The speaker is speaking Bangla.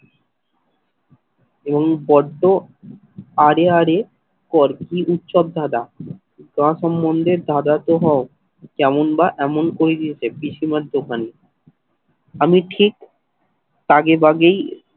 এবং বড্ড হারে হারে কর কি উৎসব দাদা তোমার সম্বন্ধে দাদা তো হও যেমন বা এমন করে দিয়েছে পিসিমার দোকানে আমি ঠিক আগেভাগেই